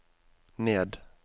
ned